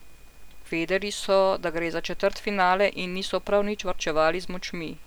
Vedeli so, da gre za četrtfinale in niso prav nič varčevali z močmi.